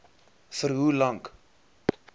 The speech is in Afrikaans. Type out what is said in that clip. vir hoe lank